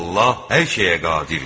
Allah hər şeyə qadirdir.